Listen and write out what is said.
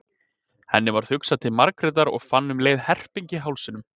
Henni varð hugsað til Margrétar og fann um leið herpinginn í hálsinum.